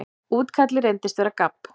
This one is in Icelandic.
Útkallið reyndist vera gabb.